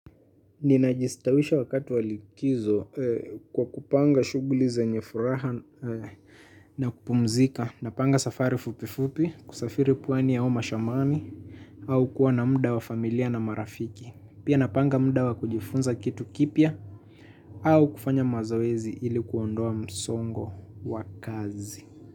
Ninajistawisha wakati wa likizo kwa kupanga shughuli zenye furaha na kupumzika. Napanga safari fupifupi kusafiri pwani au mashambani au kuwa na muda wa familia na marafiki. Pia napanga muda wa kujifunza kitu kipya au kufanya mazoezi ili kuondoa msongo wa kazi.